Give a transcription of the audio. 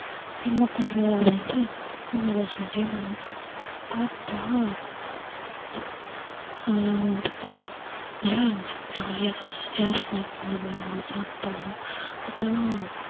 என்ன பண்றது அப்படின்னுட்டு கொஞ்சம் guess பண்ணிட்டே வந்தோம். பார்த்தா அஹ் பார்த்தா நல்லா இருந்துச்சு jolly ஆ எல்லாரும் snacks கொண்டு வந்துருந்தோம் சாப்பிட்டோம் அப்புறம்